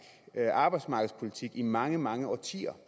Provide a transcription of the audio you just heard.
arbejdsmarkedspolitik i mange mange årtier